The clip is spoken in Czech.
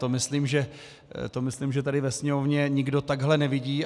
To myslím, že tady ve sněmovně nikdo takhle nevidí.